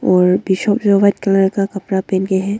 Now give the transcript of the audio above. और white colour का कपड़ा पेन के हैं।